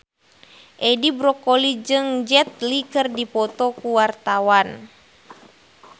Edi Brokoli jeung Jet Li keur dipoto ku wartawan